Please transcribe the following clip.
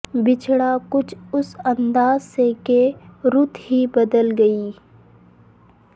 بچھڑا کچھ اس انداز سے کہ رت ہی بدل گئی